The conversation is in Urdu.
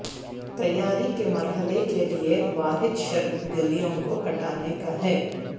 تیاری کے مرحلے کے لئے واحد شرط گلیوں کو ہٹانے کا ہے